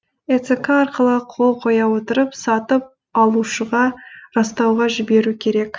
эцқ арқылы қол қоя отырып сатып алушыға растауға жіберу керек